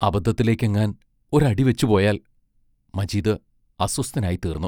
അപദ്ധത്തിലേക്കെങ്ങാൻ ഒരടി വെച്ചുപോയാൽ മജീദ് അസ്വസ്ഥനായിത്തീർന്നു.